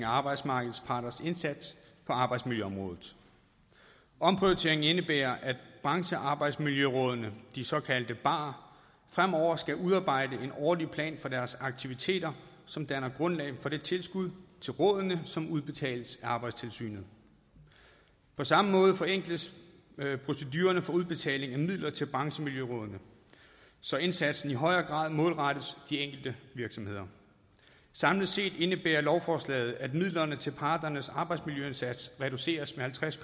arbejdsmarkedets parters indsats på arbejdsmiljøområdet omprioriteringen indebærer at branchearbejdsmiljørådene de såkaldte barer fremover skal udarbejde en årlig plan for deres aktiviteter som danner grundlag for det tilskud til rådene som udbetales af arbejdstilsynet på samme måde forenkles procedurerne for udbetaling af midler til branchemiljørådene så indsatsen i højere grad målrettes de enkelte virksomheder samlet set indebærer lovforslaget at midlerne til parternes arbejdsmiljøindsats reduceres med halvtreds